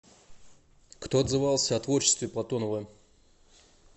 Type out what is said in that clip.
кто отзывался о творчестве платонова